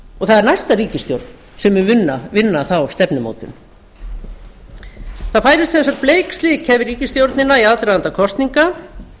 og það er næsta ríkisstjórn sem mun vinna þá stefnumótun það færist sem sagt bleik sækja yfir ríkisstjórnina í aðdraganda kosninga